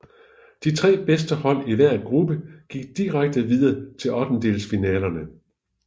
De tre bedste hold i hver gruppe gik direkte videre til ottendedelsfinalerne